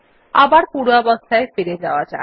আবার পূর্বাবস্থায় ফিরে আসা যাক